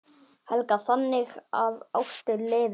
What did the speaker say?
Helga: Þannig að ástin lifir?